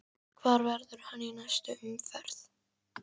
Hvar verður hann í næstu umferð?